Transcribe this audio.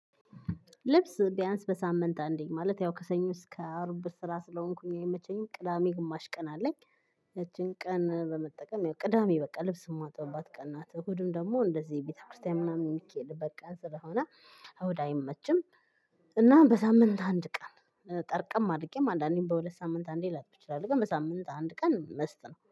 ልብስ ቢያንስ በሳምንት አንዴ ማለት ያው ከሰኞ እስከ አርብ ብር ስራ ስለሆንኩኝ የምመቼኝ ቅዳሜ ግማሽ ቀን አለኝ። ያቺን ቀን ለመጠቀም ያው ቅዳሜ በቃ ልብስ የማጥብበት ቀናት እሁድም ደግሞ እንደዚህ ቤተክርስቲያን ምናምን ይከዳል። በቃ ስለሆነ እሁድ አይመችም። እና በሳምንት አንድ ቀን ጠርቀም አድርጌም አንዳንዴም በሁለት ሳምንት አንዴ ላጥብ እችላለሁ። ግን በሳምንት አንድ ቀን መስት ነው